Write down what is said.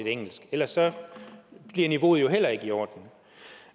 engelsk ellers bliver niveauet jo ikke i orden